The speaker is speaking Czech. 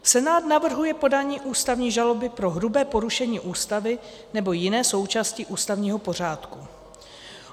Senát navrhuje podání ústavní žaloby pro hrubé porušení Ústavy nebo jiné součástí ústavního pořádku.